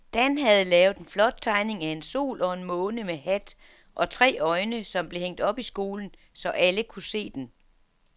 Dan havde lavet en flot tegning af en sol og en måne med hat og tre øjne, som blev hængt op i skolen, så alle kunne se den.